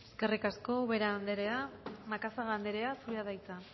eskerrik asko ubera anderea macazaga anderea zurea da hitza